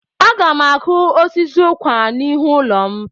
Aga m akụ osisi ụkwà n'ihu ụlọ m.